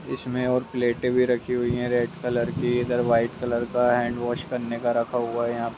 इसमें और प्लेटें भी रखी हुई हैं रेड कलर की इधर व्हाइट कलर का हैण्ड वाश करने का रखा हुआ है यहाँ पे।